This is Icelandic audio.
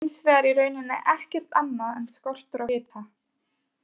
Kuldi er hins vegar í rauninni ekkert annað en skortur á hita!